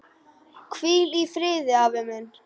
Hvíl í friði afi minn.